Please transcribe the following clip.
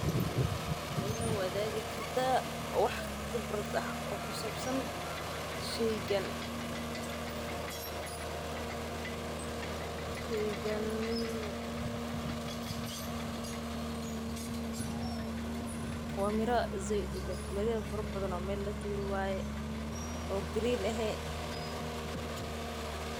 Ma ila waadigi kartaa waxa khibrad ah oo ku sabsan sheygan waa mira fara badan oo meel la tuure.